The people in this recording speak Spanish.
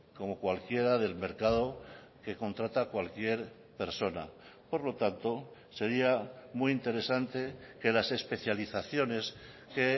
como cualquiera del mercado que contrata a cualquier persona por lo tanto sería muy interesante que las especializaciones que